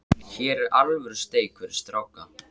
Hér er alvöru steik fyrir stráka.